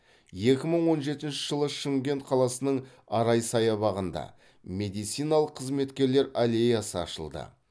екі мың он жетінші жылы шымкент қаласының арай саябағында медициналық қызметкерлер аллеясы ашылды